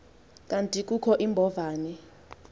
kanti kukho iimbovane